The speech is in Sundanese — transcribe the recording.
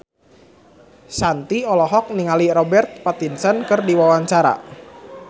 Shanti olohok ningali Robert Pattinson keur diwawancara